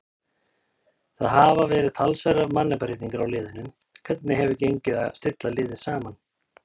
Það hafa verið talsverðar mannabreytingar á liðinu, hvernig hefur gengið að stilla liðið saman?